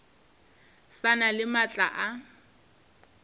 sa na le maatla a